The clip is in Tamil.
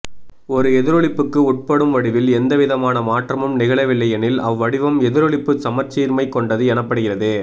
ஒரு எதிரொளிப்புக்கு உட்படும் வடிவில் எந்தவிதமான மாற்றமும் நிகழவில்லையெனில் அவ்வடிவம் எதிரொளிப்பு சமச்சீர்மை கொண்டது எனப்படுகிறது